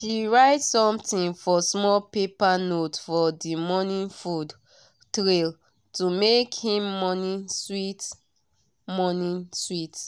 she write something for small paper note for the morning food tray to make him morning sweet. morning sweet.